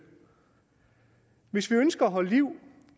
hvis vi ønsker at holde liv